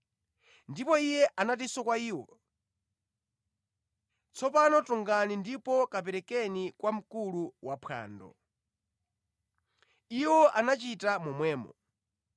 Ndipo Iye anatinso kwa iwo, “Tsopano tungani ndipo kaperekeni kwa mkulu waphwando.” Iwo anachita momwemo.